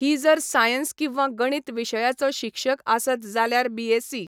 हि जर सायन्स किंवां गणित विशयाचो शिक्षक आसत जाल्यार बीएसी.